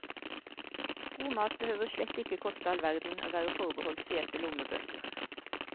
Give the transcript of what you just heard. God mat behøver slett ikke koste all verden og være forbeholdt fete lommebøker.